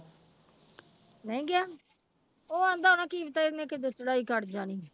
ਨਹੀਂ ਗਿਆ ਉਹ ਕਹਿੰਦਾ ਹੋਣਾ ਕੀ ਪਤਾ ਇਹਨੇ ਕਦੋਂ ਚੜ੍ਹਾਈ ਕਰ ਜਾਣੀ।